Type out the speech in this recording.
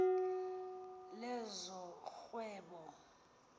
lezorhwebo